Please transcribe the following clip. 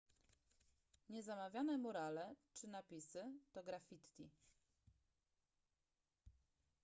niezamawiane murale czy napisy to graffiti